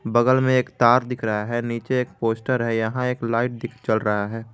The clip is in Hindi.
बगल में एक तार दिख रहा है नीचे एक पोस्टर है यहां एक लाइट जल रहा है।